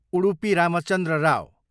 Udupi Ramachandra Rao